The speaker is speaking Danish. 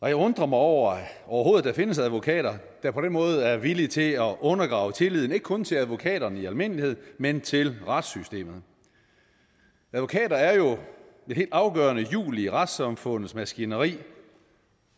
jeg undrer mig over at der overhovedet findes advokater der på den måde er villige til at undergrave tilliden ikke kun til advokaterne i almindelighed men til retssystemet advokater er jo et helt afgørende hjul i retssamfundets maskineri